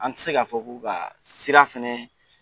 An ti se ka fɔ ko ka sira fɛnɛ